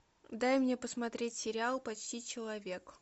дай мне посмотреть сериал почти человек